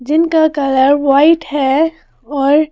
जिनका colour white है और--